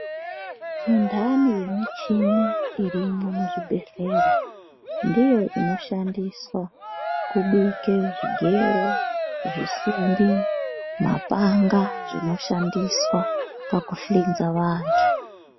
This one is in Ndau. Mintani yemishini irimo muzvibhedhlera, ndiyo inshandiswa kubike zvigero, zvisimbi, mapanga, zvinoshandiswa pakuhlinza vantu.